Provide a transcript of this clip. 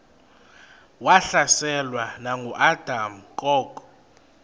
wahlaselwa nanguadam kok